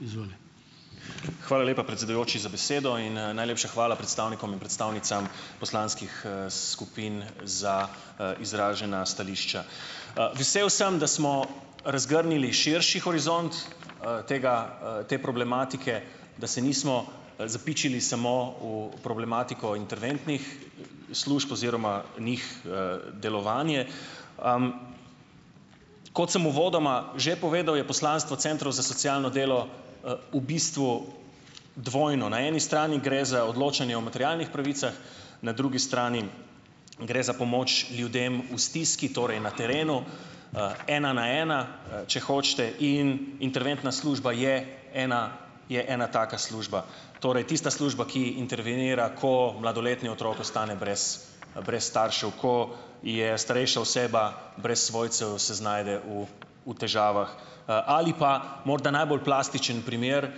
Hvala lepa, predsedujoči, za besedo in, najlepša hvala predstavnikom in predstavnicam poslanskih, skupin za, izražena stališča. Vesel sem, da smo razgrnili širši horizont, tega, te problematike, da se nismo, zapičili samo v problematiko interventnih služb oziroma njih, delovanje. Kot sem uvodoma že povedal, je poslanstvo centrov za socialno delo, v bistvu, dvojno - na eni strani gre za odločanje o materialnih pravicah, na drugi strani gre za pomoč ljudem v stiski, torej na terenu. ena na ena, če hočete, in interventna služba je ena je ena taka služba, torej tista služba, ki intervenira, ko mladoletni otrok ostane brez, staršev, ko je starejša oseba brez svojcev, se znajde v, v težavah, ali pa, morda najbolj plastičen primer,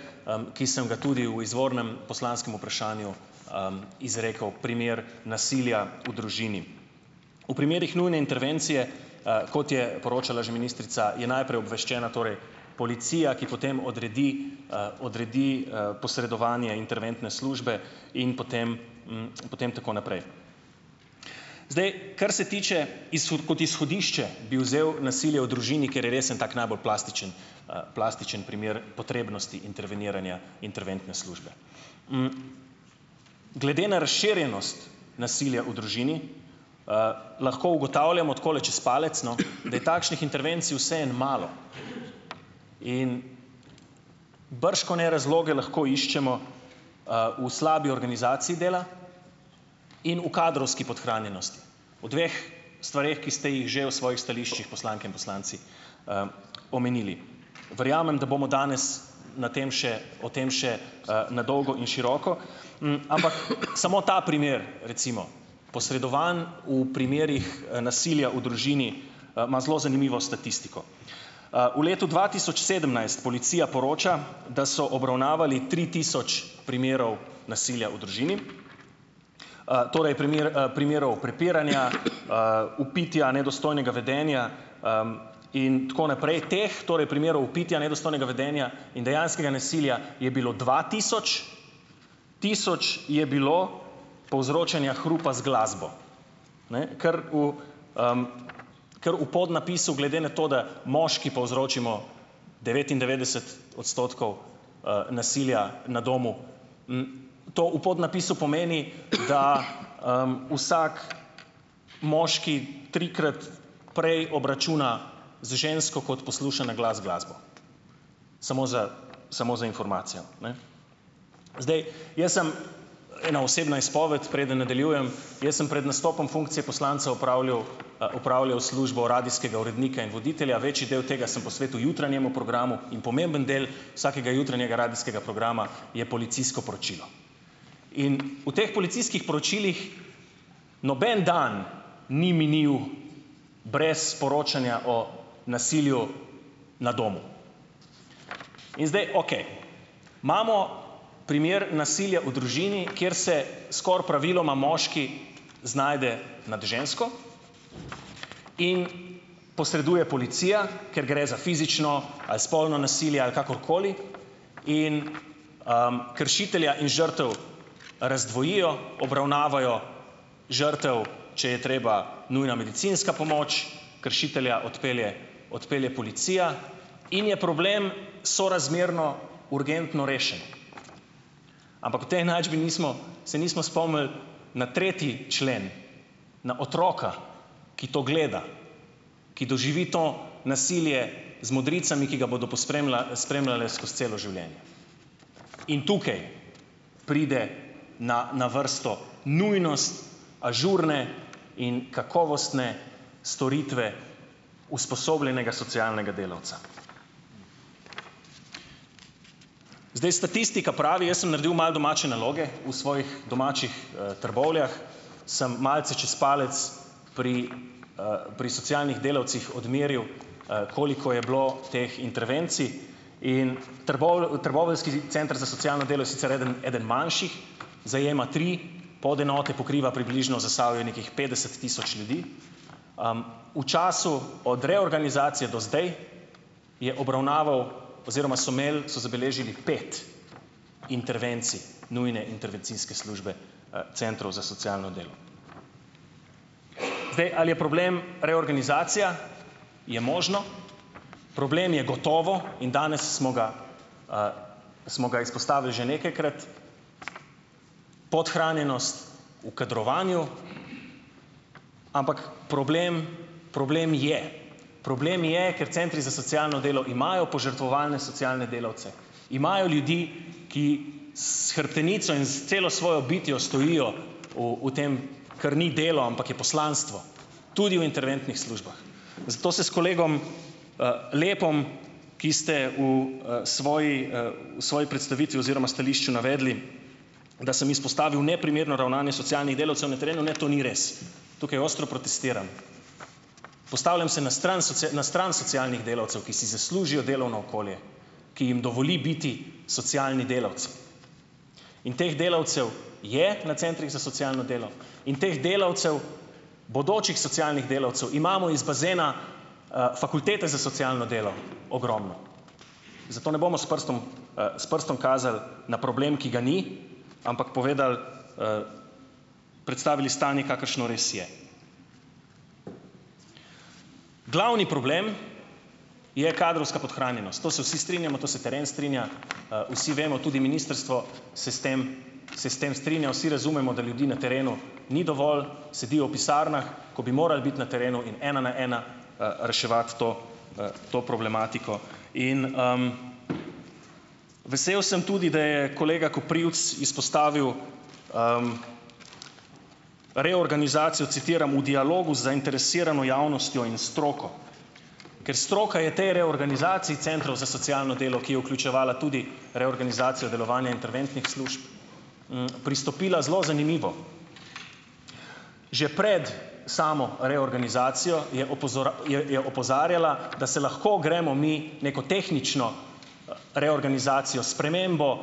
ki sem ga tudi v izvornem poslanskem vprašanju, izrekel, primer nasilja v družini. V primerih nujne intervencije, kot je poročala že ministrica, je najprej obveščena torej policija, ki potem odredi, odredi, posredovanje interventne službe in potem, potem tako naprej. Zdaj, kar se tiče kot izhodišče, bi vzel nasilje v družini, ker je res en tak najbolj plastičen, plastičen primer potrebnosti interveniranja interventne službe. Glede na razširjenost nasilja v družini, lahko ugotavljamo, takole čez palec, no, da je takšnih intervencij vseeno malo in bržkone razloge lahko iščemo, v slabi organizaciji dela in v kadrovski podhranjenosti. V dveh stvareh, ki ste jih že v svojih stališčih poslanke in poslanci, omenili. Verjamem, da bomo danes na tem še, o tem še, na dolgo in široko, ampak samo ta primer recimo, posredovan v primerih, nasilja v družini, ima zelo zanimivo statistiko. V letu dva tisoč sedemnajst policija poroča, da so obravnavali tri tisoč primerov nasilja v družini, torej primer, primerov prepiranja, vpitja, nedostojnega vedenja, in tako naprej, teh torej primerov vpitja, nedostojnega vedenja in dejanskega nasilja, je bilo dva tisoč, tisoč je bilo povzročanja hrupa z glasbo, ne, ker v, ker v podnapisu, glede na to, da moški povzročimo devetindevetdeset odstotkov, nasilja na domu, to v podnapisu pomeni, da, vsak moški trikrat prej obračuna z žensko, kot posluša na glas glasbo. Samo za samo za informacijo, ne. Zdaj, jaz sem ena osebna izpoved, preden nadaljujem, jaz sem pred nastopom funkcije poslanca opravljal, opravljal službo radijskega urednika in voditelja, večji del tega sem posvetil jutranjemu programu in pomemben del radijskega vsakega jutranjega programa je policijsko poročilo. In v teh policijskih poročilih noben dan ni minil brez poročanja o nasilju na domu. In zdaj okej, imamo primer nasilja v družini, kjer se skoraj praviloma moški znajde nad žensko in posreduje policija, ker gre za fizično, ali spolno nasilje ali kakorkoli in, kršitelja in žrtev razdvojijo, obravnavajo žrtev, če je treba, nujna medicinska pomoč, kršitelja odpelje, odpelje policija in je problem sorazmerno urgentno rešen. Ampak v tej enačbi nismo, se nismo spomnili na tretji člen, na otroka, ki to gleda, ki doživi to nasilje z modricami, ki ga bodo pospremila, spremljale skozi celo življenje. In tukaj pride na na vrsto nujnost ažurne in kakovostne storitve usposobljenega socialnega delavca. Zdaj, statistika pravi, jaz sem naredil malo domače naloge v svojih domačih, Trbovljah samo malce čez palec pri, pri socialnih delavcih odmeril, koliko je bilo teh intervencij, in trboveljski center za socialno delo je sicer eden eden manjših, zajema tri podenote, pokriva približno Zasavje, nekih petdeset tisoč ljudi. V času od reorganizacije do zdaj je obravnaval oziroma so imeli, so zabeležili pet intervencij nujne intervencijske službe, centrov za socialno delo. Zdaj, ali je problem reorganizacija, je možno, problem je gotovo, in danes smo ga, smo ga izpostavili že nekajkrat. Podhranjenost v kadrovanju, ampak problem, problem je. Problem je, ker centri za socialno delo imajo požrtvovalne socialne delavce, imajo ljudi, ki s hrbtenico in s celo svojo bitjo stojijo v, v tem, kar ni delo, ampak je poslanstvo. Tudi o interventnih službah. Zato se s kolegom, Lepom, ki ste b, svoji, svoji predstavitvi oziroma stališču navedli, da sem izpostavil neprimerno ravnanje socialnih delavcev, na terenu ne, to ni res. Tukaj ostro protestiram. Postavljam se na stran na stran socialnih delavcev, ki si zaslužijo delovno okolje, ki jim dovoli biti socialni delavci. In teh delavcev je na centrih za socialno delo in teh delavcev, bodočih socialnih delavcev, imamo iz bazena, fakultete za socialno delo ogromno, zato ne bomo s prstom, s prstom kazal na problem, ki ga ni, ampak povedal, predstavili stanje, kakršno res je. Glavni problem je kadrovska podhranjenost, to se vsi strinjamo, to se teren strinja, vsi vemo, tudi ministrstvo se s tem, se s tem strinja, vsi razumemo, da ljudi na terenu ni dovolj, sedijo v pisarnah, ko bi morali biti na terenu in ena na ena, reševati to, to problematiko. In, Vesel sem tudi, da je kolega Koprivc izpostavil, reorganizacijo, citram: "V dialogu z zainteresirano javnostjo in stroko." Ker stroka je tej reorganizaciji centrov za socialno delo, ki je vključevala tudi reorganizacijo delovanja interventnih služb, pristopila zelo zanimivo. Že pred samo reorganizacijo je je, je opozarjala, da se lahko gremo mi neko tehnično reorganizacijo, spremembo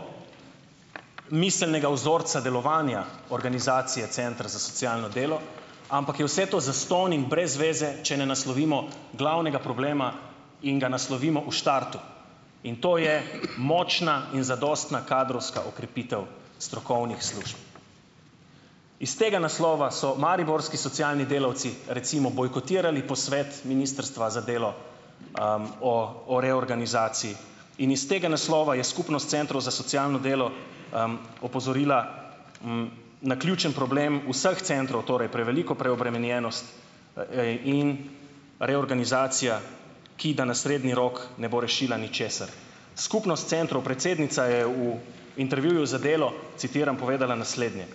miselnega vzorca delovanja organizacije centra za socialno delo, ampak je vse to zastonj in brez veze, če ne naslovimo glavnega problema in ga naslovimo v štartu, in to je močna in zadostna kadrovska okrepitev strokovnih služb. Iz tega naslova so mariborski socialni delavci recimo bojkotirali posvet ministrstva za delo, o, o reorganizaciji in iz tega naslova je skupnost centrov za socialno delo, opozorila, na ključni problem vseh centrov, torej preveliko preobremenjenost, in reorganizacija, ki da na srednji rok ne bo rešila ničesar. Skupnost centrov, predsednica je v intervjuju za Delo, citiram, povedala naslednje: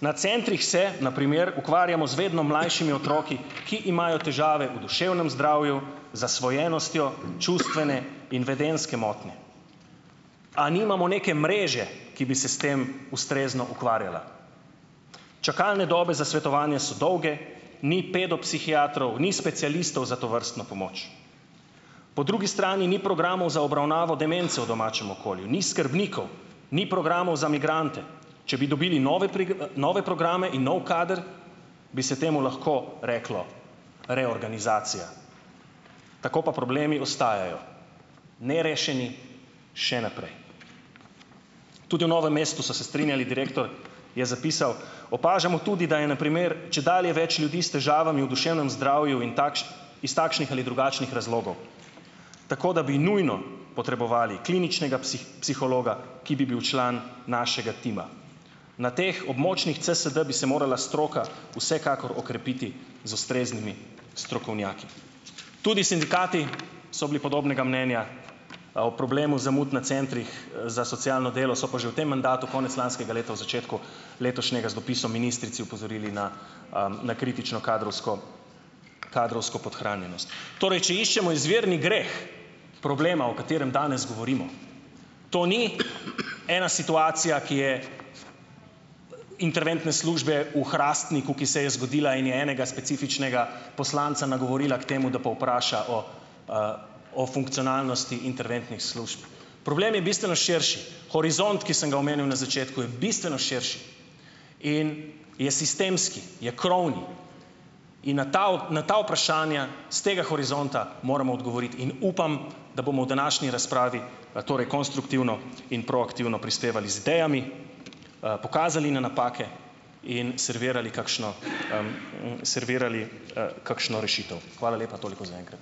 "Na centrih se na primer ukvarjamo z vedno mlajšimi otroki, ki imajo težave v duševnem zdravju, zasvojenostjo, čustvene in vedenjske motnje." A nimamo neke mreže, ki bi se s tem ustrezno ukvarjala? Čakalne dobe za svetovanja so dolge, ni pedopsihiatrov, ni specialistov za tovrstno pomoč. Po drugi strani ni programov za obravnavo demence v domačem okolju, ni skrbnikov, ni programov za migrante, če bi dobili nove nove programe in nov kader, bi se temu lahko reklo reorganizacija. Tako pa problemi ostajajo nerešeni še naprej. Tudi v Novem mestu so se strinjali, direktor je zapisal: "Opažamo tudi, da je na primer čedalje več ljudi s težavami v duševnem zdravju in iz takšnih ali drugačnih razlogov, tako da bi nujno potrebovali kliničnega psihologa, ki bi bil član našega tima." Na teh območnih CSD bi se morala stroka vsekakor okrepiti z ustreznimi strokovnjaki. Tudi sindikati so bili podobnega mnenja o problemu zamud na centrih, za socialno delo, so pa že v tem mandatu konec lanskega leta v začetku letošnjega z dopisom ministrici opozorili na, na kritično kadrovsko kadrovsko podhranjenost. Torej, če iščemo izvirni greh problema, o katerem danes govorimo, to ni ena situacija, ki je interventne službe v Hrastniku, ki se je zgodila in je enega specifičnega poslanca nagovorila k temu, da povpraša o, o funkcionalnosti interventnih služb, problem je bistveno širši. Horizont, ki sem ga omenil na začetku, je bistveno širši in je sistemski, je krovni in na ta na ta vprašanja s tega horizonta moramo odgovoriti in upam, da bomo v današnji razpravi, torej konstruktivno in proaktivno prispevali z idejami, pokazali na napake in servirali kakšno, servirali, kakšno rešitev. Hvala lepa. Toliko za enkrat.